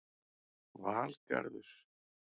Valgarður